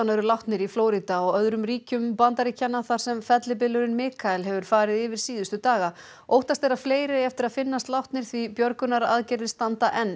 eru látnir í Flórída og öðrum ríkjum Bandaríkjanna þar sem fellibylurinn Mikael hefur farið yfir síðustu daga óttast er að fleiri eigi eftir að finnast látnir því björgunaraðgerðir standa enn